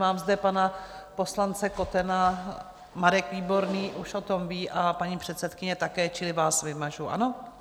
Mám zde pana poslance Kotena, Marek Výborný už o tom ví a paní předsedkyně také, čili vás vymažu, ano?